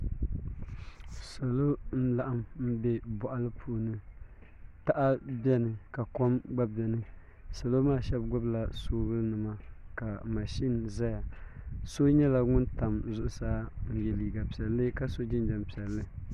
Salo n laɣam bɛ boɣali puuni taha biɛni ka kom gba biɛni salo maa shab gbubila soobuli nima ka mashin ʒɛya so nyɛla ŋun tam zuɣusaa n n yɛ liiga piɛlli ka so jinjɛm piɛlli